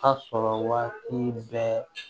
A sɔrɔ waati bɛɛ